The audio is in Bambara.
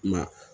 Ma